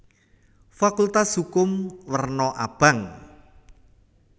Fakultas Hukum werna abang